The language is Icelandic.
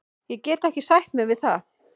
Ég gat ekki sætt mig við það.